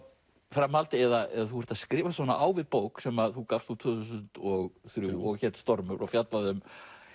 framhald eða þú ert að skrifast á við bók sem þú gafst út tvö þúsund og þrjú og hét stormur og fjallaði um